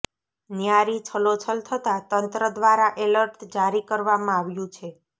ન્યારી છલોછલ થતાં તંત્ર દ્વારા અલર્ટ જારી કરવામાં આવ્યું છે